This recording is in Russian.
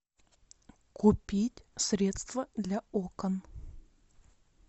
купить средство для окон